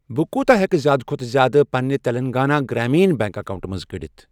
بہٕ کوٗتہ ہٮ۪کہٕ زِیٛادٕ کھۄتہٕ زِیٛادٕ پنِنہِ تیٚلنٛگانا گرٛامیٖنا بیٚنٛک اکاونٹہٕ منٛز کٔڑِتھ۔